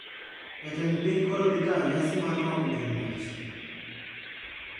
Jatend piny koro dhi tayo nyasi mar rwako jong`wech